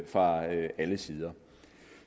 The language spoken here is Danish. fra alle sider